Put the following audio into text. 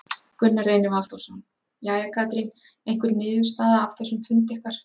Gunnar Reynir Valþórsson: Jæja, Katrín, einhver niðurstaða af þessum fundi ykkar?